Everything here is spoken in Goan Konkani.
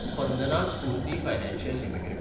Spandana Sphoorty financial limited